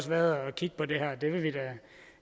været at kigge på det her